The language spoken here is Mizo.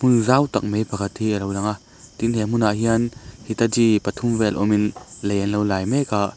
zau tak mai pakhat hi a lo lang a tin he hmunah hian hitachi pathum vel awm in lei an lo lai mek a.